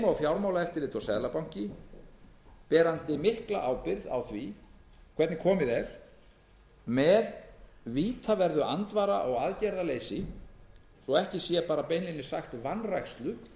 og fjármálaeftirlit og seðlabanki bera mikla ábyrgð á því hvernig komið er með vítaverðu andvara og aðgerðaleysi svo ekki sé beinlínis sagt vanrækslu